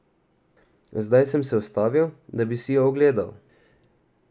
Zdaj sem se ustavil, da bi si jo ogledal.